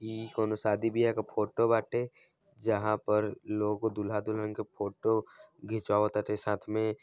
ई -कोनो शादी बियाह के फोटो बाटे जहां पर लोग दूल्हा-दुल्हन क फोटो घिचवावत बाटे साथ में--